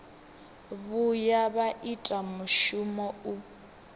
vhuya vha ita mushumo u